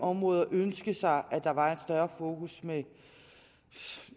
områder ønske sig at der var et større fokus med